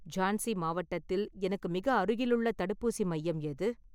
ஜான்சி மாவட்டத்தில் எனக்கு மிக அருகிலுள்ள தடுப்பூசி மையம் எது?